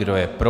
Kdo je pro?